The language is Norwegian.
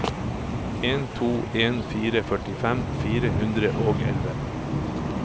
en to en fire førtifem fire hundre og elleve